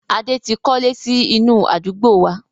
Adé tí kọ́lé sì inú àdúgbò wá.